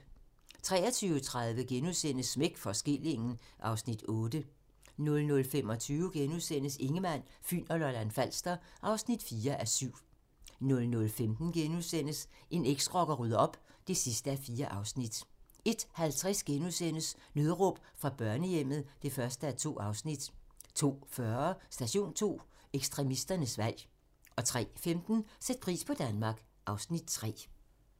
23:30: Smæk for skillingen (Afs. 8)* 00:25: Ingemann, Fyn og Lolland-Falster (4:7)* 01:15: En eksrocker rydder op (4:4)* 01:50: Nødråb fra børnehjemmet (1:2)* 02:40: Station 2: Ekstremisternes valg 03:15: Sæt pris på Danmark (Afs. 3)